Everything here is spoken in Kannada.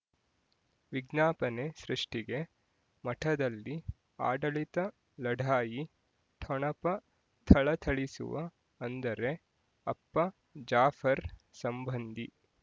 ವಿಜ್ಞಾಪನೆ ಸೃಷ್ಟಿಗೆ ಮಠದಲ್ಲಿ ಆಡಳಿತ ಲಢಾಯಿ ಠೊಣಪ ಥಳಥಳಿಸುವ ಅಂದರೆ ಅಪ್ಪ ಜಾಫರ್ ಸಂಬಂಧಿ